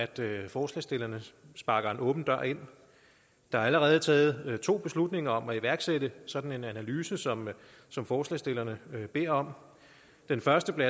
det at forslagsstillerne sparker en åben dør ind der er allerede taget to beslutninger om at iværksætte sådan en analyse som som forslagsstillerne beder om den første blev